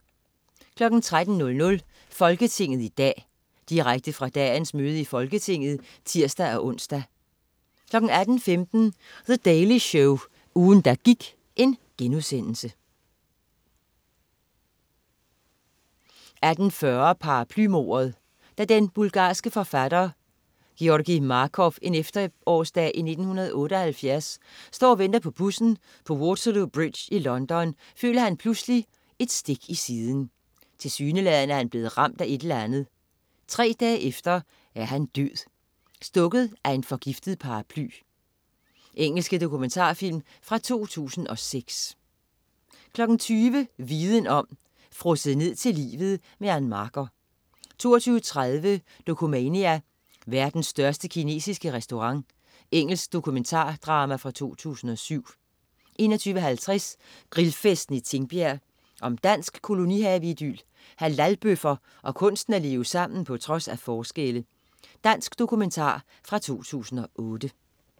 13.00 Folketinget i dag. Direkte fra dagens møde i Folketinget (tirs-ons) 18.15 The Daily Show, ugen der gik* 18.40 Paraplymordet. Da den bulgarske forfatter Georgi Markov en efterårsdag i 1978 står og venter på bussen på Waterloo Bridge i London, føler han pludselig et stik i siden. Tilsyneladende er han blevet ramt af et eller andet. Tre dage efter er han død! Stukket af en forgiftet paraply. Engelske dokumentarfilm fra 2006 20.00 Viden om. Frosset ned til livet. Ann Marker 20.30 Dokumania: Verdens største kinesiske restaurant. Engelsk dokumentarfilm fra 2007 21.50 Grillfesten i Tingbjerg. Om dansk kolonihaveidyl, halalbøffer og kunsten at leve sammen på trods af forskelle. Dansk dokumentar fra 2008